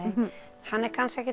hann er kannski ekkert